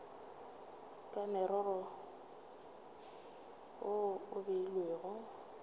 ka morero wo o beilwego